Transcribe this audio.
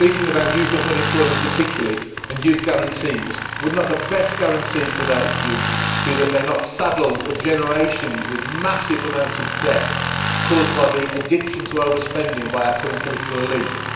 Speaking about youth unemployment particularly, and youth guarantees, would not the best guarantee for that youth be that they are not saddled for generations with massive amounts of debt caused by the addiction to over spending by our current political elite?